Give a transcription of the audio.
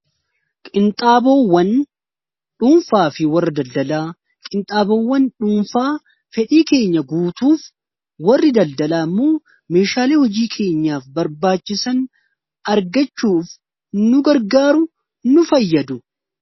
qinxaaboowwan dhuunfaa fi warri daldalaa qinxaaboowwan dhuunfaa fedhii keenya guutuuf warri daldalaa immoo meeshaalee hojii keenyaaf barbaachisan argachuuf nu gargaaru nu fayyadu